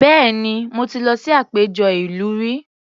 Bẹ́ẹ̀ni, mo ti lọ sí àpéjọ ìlú rí